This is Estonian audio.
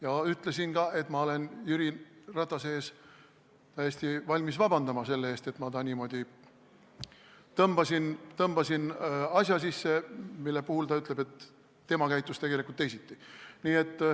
Ma ütlesin ka, et ma olen täiesti valmis Jüri Ratase ees vabandama, et ma ta niimoodi tõmbasin asja sisse, mille kohta ta ütleb, et tema käitus tegelikult teisiti.